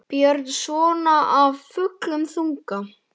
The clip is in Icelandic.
Björn: Svona af fullum þunga?